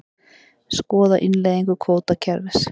Skoða innleiðingu kvótakerfis